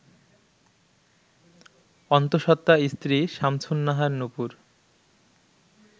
অন্তসত্ত্বা স্ত্রী সামসুন্নাহার নুপুর